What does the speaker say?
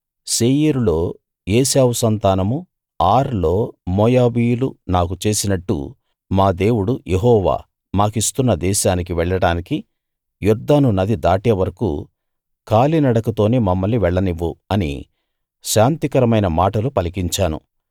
శేయీరులో ఏశావు సంతానమూ ఆర్ లో మోయాబీయులూ నాకు చేసినట్టు మా దేవుడు యెహోవా మాకిస్తున్న దేశానికి వెళ్ళడానికి యొర్దాను నది దాటేవరకూ కాలి నడకతోనే మమ్మల్ని వెళ్లనివ్వు అని శాంతికరమైన మాటలు పలికించాను